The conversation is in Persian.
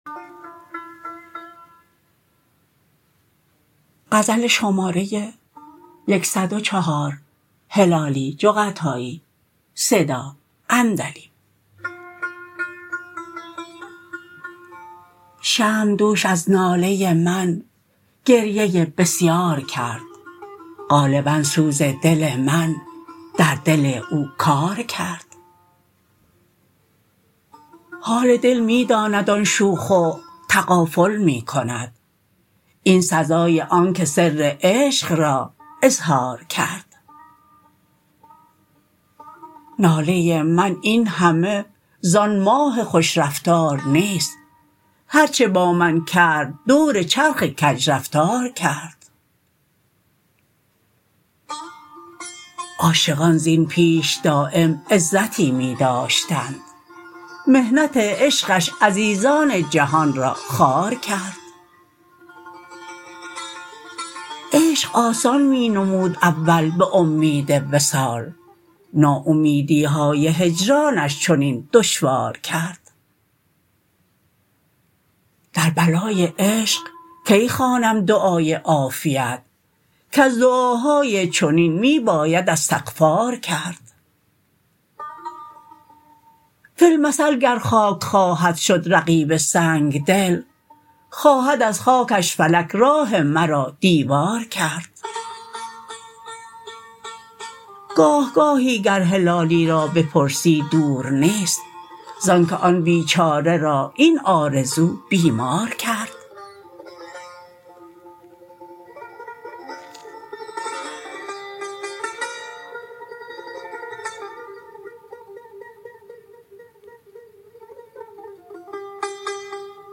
شمع دوش از ناله من گریه بسیار کرد غالبا سوز دل من در دل او کار کرد حال دل می داند آن شوخ و تغافل می کند این سزای آنکه سر عشق را اظهار کرد ناله من این همه زان ماه خوش رفتار نیست هر چه با من کرد دور چرخ کج رفتار کرد عاشقان زین پیش دایم عزتی می داشتند محنت عشقش عزیزان جهان را خوار کرد عشق آسان می نمود اول بامید وصال نا امیدیهای هجرانش چنین دشوار کرد در بلای عشق کی خوانم دعای عافیت کز دعاهای چنین می باید استغفار کرد فی المثل گر خاک خواهد شد رقیب سنگدل خواهد از خاکش فلک راه مرا دیوار کرد گاه گاهی گر هلالی را بپرسی دور نیست زانکه آن بیچاره را این آرزو بیمار کرد